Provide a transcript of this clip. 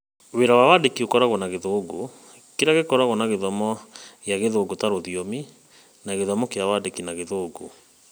Wĩra wa wandĩki ũkoragwo na gĩthũngũ, kĩrĩa gĩkoragwo na gĩthomo kĩa Gĩthũngũ ta rũthiomi na gĩthomo kĩa Wandĩki na Gĩthũngũ.